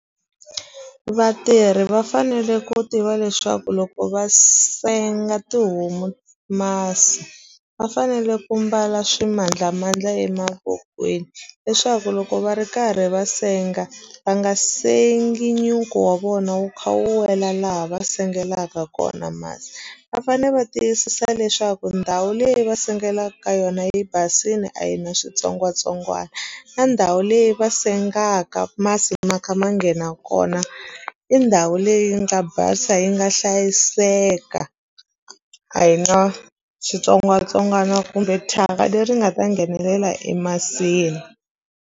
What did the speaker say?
Vatirhi va fanele ku tiva leswaku loko va senga tihomu masi va fanele ku mbala swimandlamandla emavokweni leswaku loko va ri karhi va senga va nga sengi nyuku wa vona wu kha wu wela laha va sengelaka kona kona masi va fane va tiyisisa leswaku ndhawu leyi va sengelaku ka yona yi basini a yi na switsongwatsongwani na ndhawu leyi va sengaka masi ma kha ma nghena kona i ndhawu leyi nga basa yi nga hlayiseka a hi na switsongwatsongwana kumbe thyaka leri nga ta nghenelela emasini.